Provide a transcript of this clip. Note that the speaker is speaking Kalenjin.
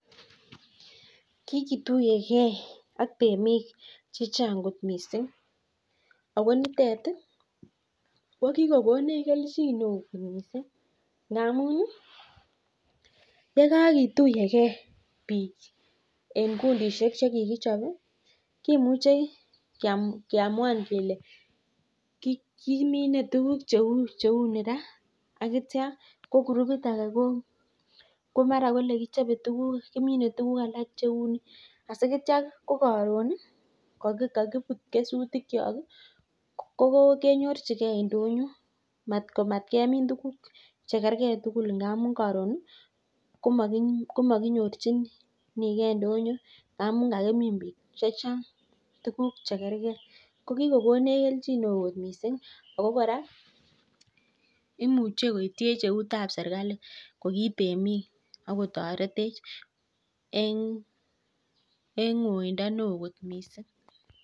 Kiketuyekee ak temik chechang kot missing akikokonech keljin missing amuu kimuche keamwan kelee kiminei tuguk cheunii raa atya ko gurubit akee komin tuguk alak sikenyoruu ndonyoo